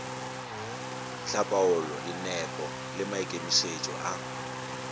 hlapaola dinepo le maikemišetšo a